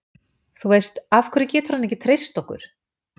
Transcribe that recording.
Þú veist, af hverju getur hann ekki treyst okkur?